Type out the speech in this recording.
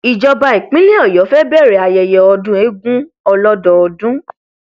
ìjọba ìpínlẹ ọyọ fẹẹ bẹrẹ ayẹyẹ ọdún eegun ọlọdọọdún